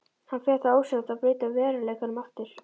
Hann fer þá ósjálfrátt að breyta veruleikanum aftur.